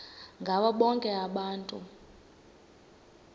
ngabo bonke abantu